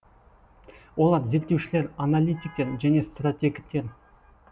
олар зерттеушілер аналитиктер және стратегтер